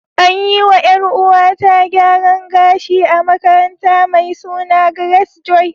An yi wa ‘Yar’uwata gyaran gashi a makaranta mai suna Grace Joy.